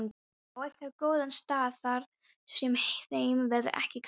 Á einhvern góðan stað þar sem þeim verður ekki kalt.